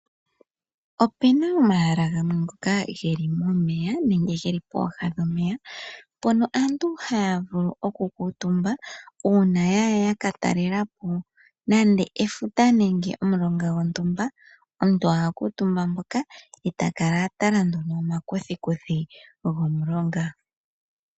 Ope na omahala ngoka geli momeya nenge ge li pooha dhomeya. Mpono aantu haya vulu okukuutumba uuna ya ya yaka talela po nande efuta nenge omulonga gontumba. Omuntu oha kuutumba mpoka e ta kala a tala no momakuthikuthi gomulonga.